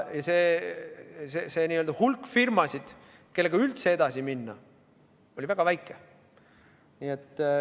Ja nende firmade hulk, kellega üldse edasi minna, oli väga väike.